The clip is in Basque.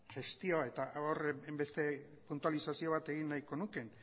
gestio eta hainbeste puntualizazio bat egin nahiko nuke